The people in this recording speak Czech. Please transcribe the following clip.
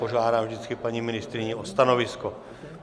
Požádám vždycky paní ministryni o stanovisko.